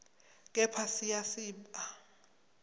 kepha siya siba